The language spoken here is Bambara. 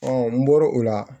n bɔr'o la